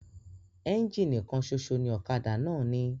Ẹ́ńjínì kan ṣoṣo ni ọ̀kadà náà ní.